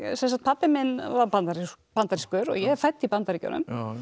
pabbi minn var bandarískur bandarískur og ég er fædd í Bandaríkjunum